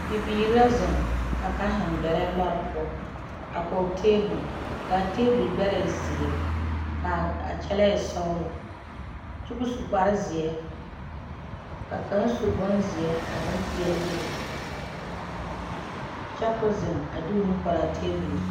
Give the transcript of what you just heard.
bibiiri la zeŋ, ka kaŋ zeŋ gbɛre lɔre poɔ a kɔge tabol ka tabol gbɛɛ e zeɛre kaa kyɛlɛ e sɔglɔ. kyɛ kɔ su kpare zeɛ, ka kaŋ su bon zeɛ ka pɛɛle bebe kyɛ kɔɔ zeŋ a de o nu pare a tabol zu.